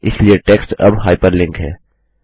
इसलिए टेक्स्ट अब हाइपरलिंक है